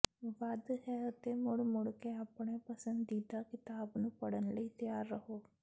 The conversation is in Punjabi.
ਵੱਧ ਹੈ ਅਤੇ ਮੁੜ ਮੁੜ ਕੇ ਆਪਣੇ ਪਸੰਦੀਦਾ ਕਿਤਾਬ ਨੂੰ ਪੜ੍ਹਨ ਲਈ ਤਿਆਰ ਰਹੋ